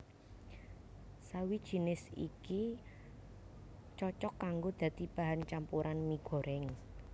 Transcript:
Sawi jinis iki cocok kanggo dadi bahan campuran mi goréng